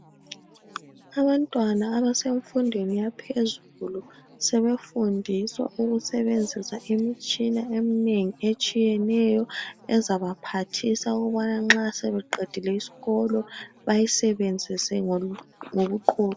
Abantwana abasemfundweni yaphezulu sebefundiswa ukusebenzisa imitshina eminengi etshiyeneyo ezabaphathisa ukubana nxa sebeqedile isikolo bayisebenzise ngobuqotho.